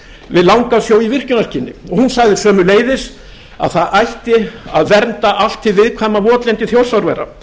við langasjó í virkjunarskyni og hún sagði sömuleiðis að það ætti að vernda allt hið viðkvæma votlendi þjórsárvera